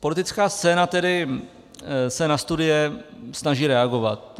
Politická scéna se tedy na studie snaží reagovat.